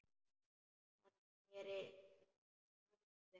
Hann sneri sér snöggt við.